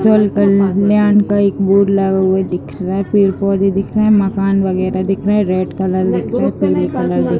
जल कल्याण का एक बोर्ड लगा हुआ दिख रहा है। पेड़-पौधे दिख रहे हैं। मकान वगैरह दिख रहे हैं। रेड कलर दिख रहा है। पीले कलर दिख--